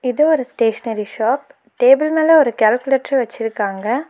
இது ஒரு stationery shop table மேல ஒரு கால்குலேட்ரு வெச்சிருக்காங்க.